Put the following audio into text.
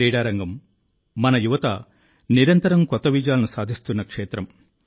క్రీడారంగం మన యువత నిరంతరం కొత్త విజయాలను సాధిస్తున్నక్షేత్రం